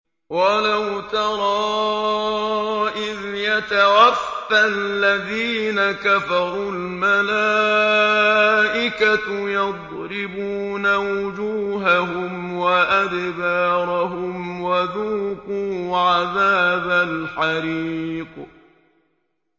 وَلَوْ تَرَىٰ إِذْ يَتَوَفَّى الَّذِينَ كَفَرُوا ۙ الْمَلَائِكَةُ يَضْرِبُونَ وُجُوهَهُمْ وَأَدْبَارَهُمْ وَذُوقُوا عَذَابَ الْحَرِيقِ